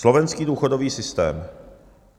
Slovenský důchodový systém.